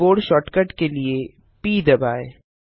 keyboard shortcut के लिए प दबाएँ